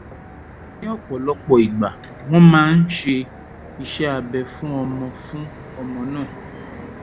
ni opolopo igba won ma n se ise abe fun omo fun omo na